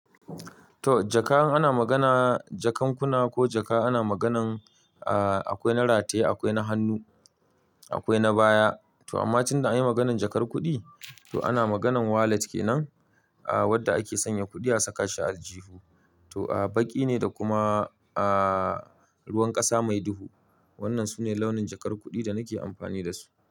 To jaka in an magana jakan kuna ko jaka ana maganan a-a kwai na rataye akwai na hannu akwai na baya. To amma tun da an yi maganan jakar kuɗi to ana maganan wallet kenan. A wadda ake sanya kuɗi a saka shi a aljihu. To a baƙi ne da kuma a ruwan ƙasa mai duhu. Wannan sune launin jakar kuɗi da nake amfani da su.